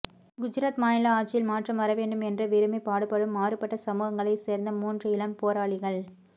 குஜராத் மாநில ஆட்சியில் மாற்றம் வரவேண்டும் என்று விரும்பி பாடுபடும் மாறுபட்ட சமூகங்களைச் சேர்ந்த மூன்று இளம் போராளிகள்